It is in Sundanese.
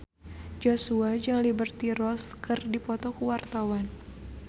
Joshua jeung Liberty Ross keur dipoto ku wartawan